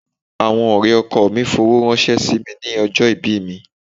Àwọn ọ̀rẹ́ ọkọọ̀ mi fowó ránṣẹ́ sí mi ní ọjọ́ ìbí mi.